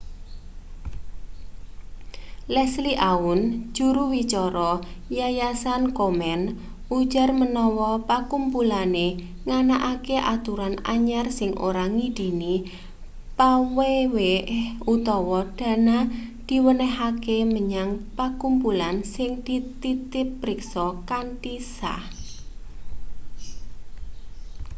leslie aun juru wicara yayasan komen ujar manawa pakumpulane nganakake aturan anyar sing ora ngidini paweweh utawa dana diwenehake menyang pakumpulan sing dititipriksa kanthi sah